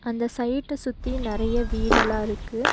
அந்த சைட்டு சுத்தி நெறைய வீடெல்லா இருக்கு.